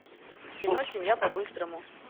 кино семья по быстрому